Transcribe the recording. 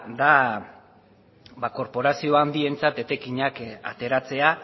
da ba korporazio handientzat etekinak ateratzea